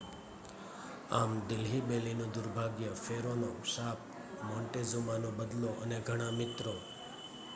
આમ દિલ્હી બેલીનું દુર્ભાગ્ય ફેરોનો શાપ મોન્ટેઝુમાનો બદલો અને ઘણા મિત્રો